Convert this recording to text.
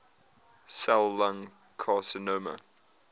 cell lung carcinoma